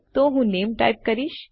તો હું નામે ટાઇપ કરીશ